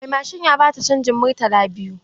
Mai mashin ya ba ta canjin murtala biyu.